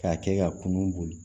K'a kɛ ka kunnu